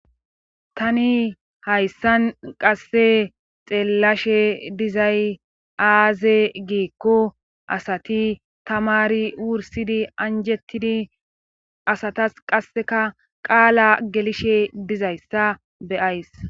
Tani hayssan qasse xeellashe dizay aaze giikko asati tamari wursidi anjettidi asatas qasseka qaala gelishe dizayssa beyays.